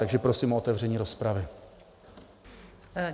Takže prosím o otevření rozpravy.